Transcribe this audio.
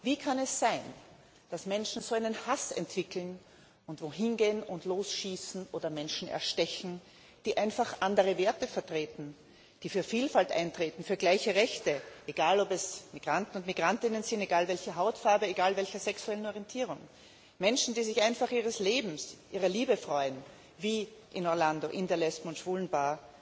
Wie kann es sein, dass Menschen so einen Hass entwickeln und irgendwohin gehen und losschießen oder Menschen erstechen, die einfach andere Werte vertreten, die für Vielfalt eintreten, für gleiche Rechte egal, ob es Migranten und Migrantinnen sind, egal welcher Hautfarbe, egal welcher sexuellen Orientierung Menschen, die sich einfach ihres Lebens, ihrer Liebe freuen wie in Orlando in der Lesben und Schwulenbar?